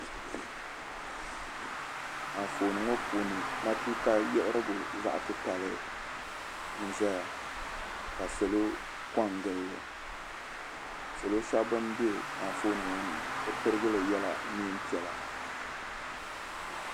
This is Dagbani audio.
Anfooni ŋɔ puuni matuuka yiɣirigu zaɣ' titali n-zaya ka salo kɔŋgili li. Salo shɛba bam be anfooni ŋɔ ni bɛ pirigili yɛla neem' piɛla.